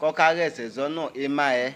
kɔkayɛsɛ sɔnu ɩmayɛ